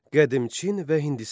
Qədim Çin və Hindistan.